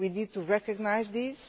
We need to recognise this.